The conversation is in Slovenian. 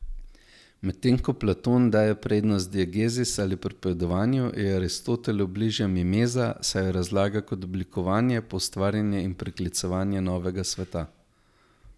Medtem ko Platon daje prednost diegezis ali pripovedovanju, je Aristotelu bližja mimeza, saj jo razlaga kot oblikovanje, poustvarjanje in priklicevanje novega sveta.